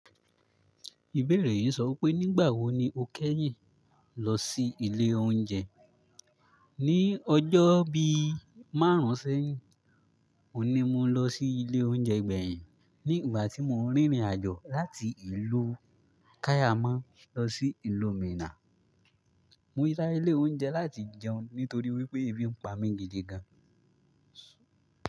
Ìbéèrè yìí sọwi pé nígbà wo ni o kẹ́yìn lọ sí ilé oúnjẹ? Ní ọjọ́ bí márùnsẹ́yin, òní mo lọ sí ilé oúnjẹ gbẹ̀yìn ní ìgbà tí mò ń rìnrìn àjò láti ìlú Kàyámà lọ sí ìlú Minà. Mo yá sí ilé oúnjẹ láti jẹun nítorí wípé ebi ń pa mí gidi gan.